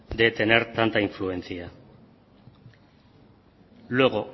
de tener tanta influencia luego